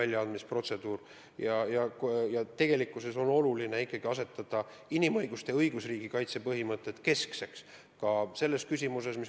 Ja tegelikult on õigusriigis oluline ikkagi pidada keskseks inimõiguste kaitse põhimõtteid, ja seda ka selles küsimuses.